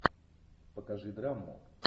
покажи драму